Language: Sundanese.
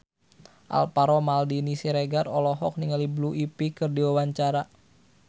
Alvaro Maldini Siregar olohok ningali Blue Ivy keur diwawancara